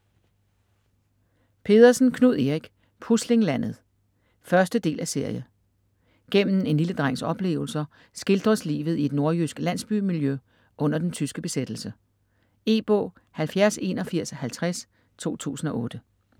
Pedersen, Knud Erik: Puslinglandet 1.del af serie. Gennem en lille drengs oplevelser skildres livet i et nordjysk landsbymiljø under den tyske besættelse. E-bog 708150 2008.